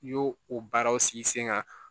N y'o o baaraw sigi sen kan